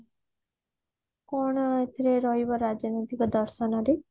କଣ ଏଥିରେ ରହିବ ରାଜନୈତିକ ଦର୍ଶନ ରେ